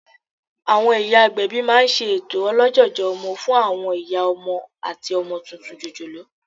Àwọn ìyá agbẹ̀bí máa n ṣe ètò olójòjò ọmọ fún àwọn ìyá ọmọ àti ọmọ tuntun jòjòló